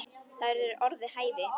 Það eru orð við hæfi.